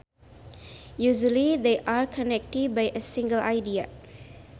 Usually they are connected by a single idea